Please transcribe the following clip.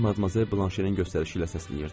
Məni Madmazel Blanşenin göstərişi ilə səsləyirdi.